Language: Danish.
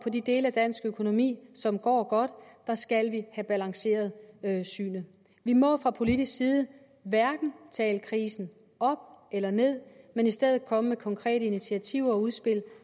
og de dele af dansk økonomi som går godt skal vi have balanceret synet vi må fra politisk side hverken tale krisen op eller ned men i stedet komme med konkrete initiativer og udspil